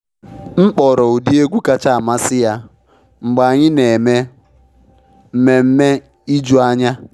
M kpọrọ ụdị egwu kacha amasị ya mgbe anyị na eme mmemme ijuanya.